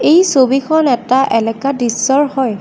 এই ছবিখন এটা এলেকা দৃশ্যৰ হয়।